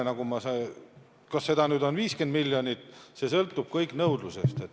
Kas seda kulub 50 miljonit, see sõltub kõik nõudlusest.